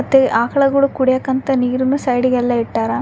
ಮತ್ತೆ ಆಕಳಗುಳು ಕುಡಿಯಾಕ ಅಂತ ನೀರನ್ನು ಸೈಡ್ಗೆ ಎಲ್ಲ ಇಟ್ಟರ.